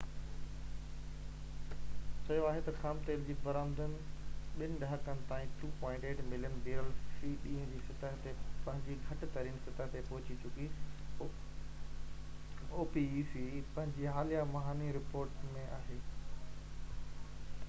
پنهنجي حاليه مهاني رپورٽ ۾ opec چيو آهي ته خام تيل جي برآمد ٻن ڏهاڪن تائين 2.8 ملين بيرل في ڏينهن جي سطح تي پنهنجي گھٽ ترين سطح تي پهچي چڪي آهي